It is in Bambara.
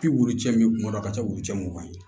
Pelu cɛ min kun na ka taa wulucɛ mugan ye